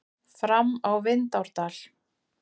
Fram á Vindárdal.